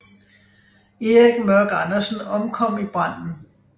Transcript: Erik Mørk Andersen omkom i branden